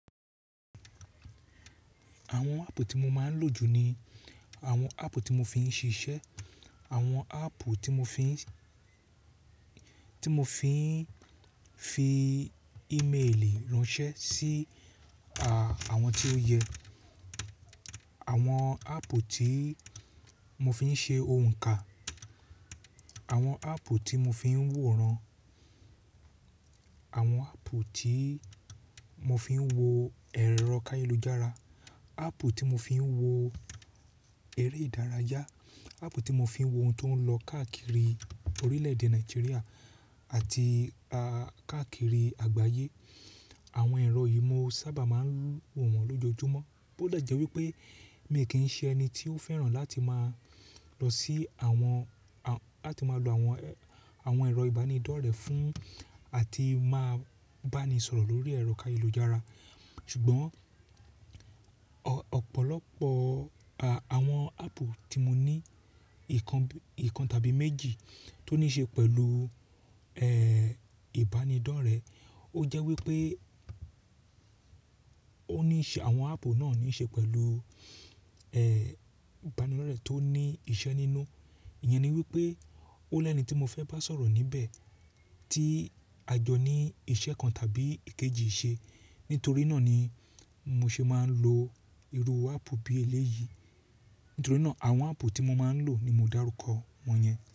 Àwọn áàpù tí mo máa ń lò jù ni àwọn áàpù tí mo fi ń ṣiṣẹ́, àwọn áàpù tí mo fi ń, tí mo fi ń fi ímélì ránṣẹ́ sí, à, àwọn tí ó yẹ, àwọn áàpù tí mo fi ń ṣe ohùn kan, àwọn áàpù tí mo fi ń wòran, àwọn áàpù tí mo fi ń wo ẹ̀rọ káyálujára, áàpù tí mo fi ń wo eré ìdárayá, áàpù tí mo fi ń wo ohun tó ń lọ káàkiri orílẹ̀-èdè Nàìjíríà àti, a, káàkiri àgbáyé. Àwọn ẹ̀rọ yìí mo sábà máa ń lò wọ́n lójoojúmọ́. Bó dẹ̀ jẹ́ wípé mi kì ń ṣe ẹni tí ó fẹ́ràn láti máa lọ sí àwọn, a, láti máa lo àwọn, àwọn ẹ̀rọ ìbánidọ́rẹ̀ẹ́ fún àti máa bá ni sọ̀rọ̀ lórí ẹ̀rọ káyélujára. Ṣùgbọ́n, ọ̀pọ̀lọpọ̀, a, àwọn áàpù tí mo ní ìkan, ìkan tàbí méjì tó ní ṣe pẹ̀lú, ẹ́, ìbánidọ́rẹ̀ẹ́. Ó jẹ́ wípé ó ní í ṣe, àwọn áàpù náà ní ṣe pẹ̀lú, ẹ́, ìbánidọ́rẹ̀ẹ́ tó ní iṣẹ́ nínú. Ìyẹn ni wípé ó lẹni tí mo fẹ́ bá sọ̀rọ̀ níbẹ̀ tí a jọ ní iṣẹ́ kan tàbí èkejì ṣe. Nítorí náà ni mo ṣe máa ń lo irú áàpù bí eléyìí. Nítorí náà àwọn áàpù tí mo máa ń lò ni mo dáruko wọ́n yẹn.